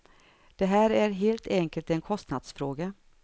Det här är helt enkelt en kostnadsfråga.